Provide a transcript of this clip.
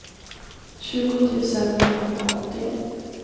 tjugo tusen niohundraåttio